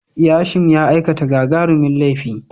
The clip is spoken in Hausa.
Yashim ya aikata gagarumin laifi.